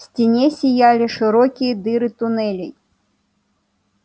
в стене зияли широкие дыры туннелей